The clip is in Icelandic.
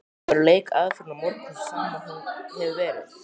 Verður leikaðferðin á morgun sú sama og hefur verið?